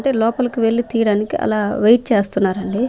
అయితే లోపలికి వెళ్లి తీయడానికి అలా వెయిట్ చేస్తున్నారండి.